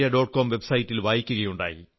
com website ൽ വായിക്കയുണ്ടായി